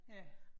Ja